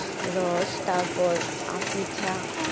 রস, তারপর পিঠা,